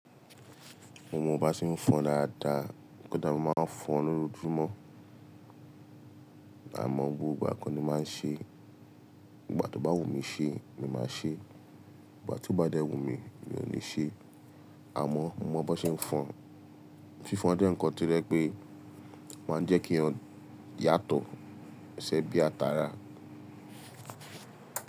Mo mọ bá ṣe ń fọn dáadáa, kódà mo máa ń fọn lojoojùmọ́. Àmọ́ gbogbo ìgbà ko ni màá ń ṣe e. Nìgbà tó bá wù mí ṣe ni màá ṣe e, ìgbà tí ó bá dẹ́ wù mí, mi ò ní ṣe e. Àmọ́ mo mọ bon ṣe ń fọn. Fífon dé nǹkan to je pé máa ń jẹ́ kíyàn yàtọ̀, ṣẹ̀ bí a tààrà.